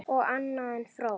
Allt annað en fró!